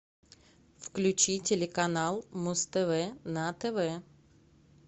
включи телеканал муз тв на тв